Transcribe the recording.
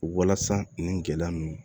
Walasa nin gɛlɛya ninnu